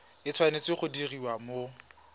e tshwanetse go diriwa mo